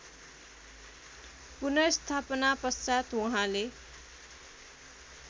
पुनर्स्थापना पश्चात् उहाँले